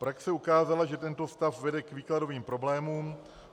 Praxe ukázala, že tento stav vede k výkladovým problémům.